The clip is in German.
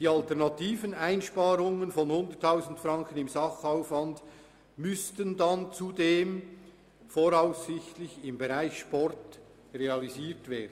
Die alternativen Einsparungen von 100 000 Franken im Sachaufwand müssten dann zudem voraussichtlich im Bereich Sport realisiert werden.